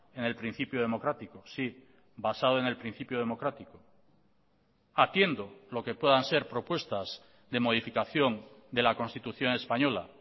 en el principio democrático sí basado en el principio democrático atiendo lo que puedan ser propuestas de modificación de la constitución española